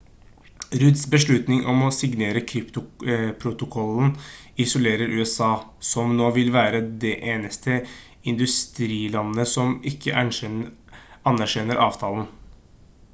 rudds beslutning om å signere kyotoprotokollen isolerer usa som nå vil være det eneste industrilandet som ikke anerkjenner avtalen